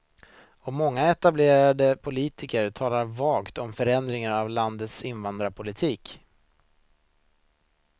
Och många etablerade politiker talar vagt om förändringar av landets invandringspolitik.